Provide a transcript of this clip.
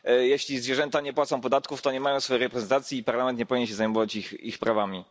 Jeśli zwierzęta nie płacą podatków, to nie mają swojej reprezentacji i Parlament nie powinien się zajmować ich prawami.